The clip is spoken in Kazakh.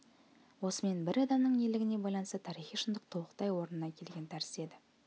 осымен бір адамының ерлігіне байланысты тарихи шындық толықтай орнына келген тәрізді еді